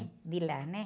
De lá, né?